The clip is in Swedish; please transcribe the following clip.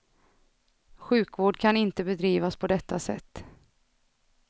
Sjukvård kan inte bedrivas på detta sätt.